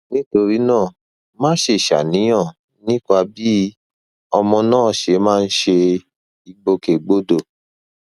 nítorí náà má ṣe ṣàníyàn nípa bí ọmọ náà ṣe máa ń ṣe ìgbòkègbodò